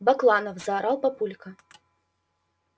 бакланов заорал папулька